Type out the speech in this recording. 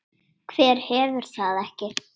Hver hefur það ekki?